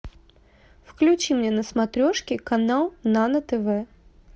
включи мне на смотрешке канал нано тв